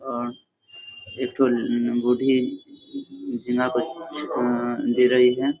और एक ठो बूढ़ी झींगा को दे रही है।